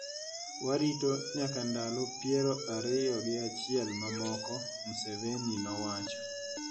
Warit nyaka ndalo piero ariyo gi achiel mamoko," Museveni nowacho.